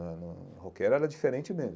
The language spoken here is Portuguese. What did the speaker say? Hum roqueiro era diferente mesmo.